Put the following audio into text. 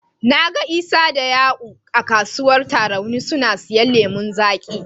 Na ga Isa da Ya'u a kasuwar Tarauni suna siyan lemon zaƙi.